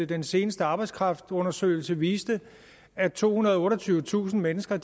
den seneste arbejdskraftundersøgelse jo viste at tohundrede og otteogtyvetusind mennesker